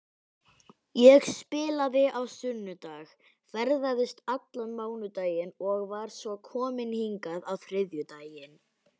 Ég spilaði á sunnudag, ferðaðist allan mánudaginn og var svo komin hingað á þriðjudaginn.